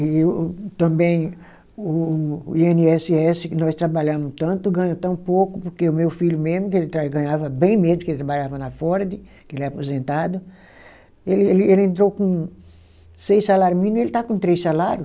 E o também o o i ene esse esse, que nós trabalhamos tanto, ganha tão pouco, porque o meu filho mesmo, que ele ganhava bem mesmo, porque ele trabalhava na Ford, que ele é aposentado, ele ele ele entrou com seis salário mínimo, ele está com três salário.